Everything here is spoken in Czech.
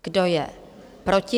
Kdo je proti?